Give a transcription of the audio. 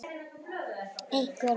Einhver nöfn?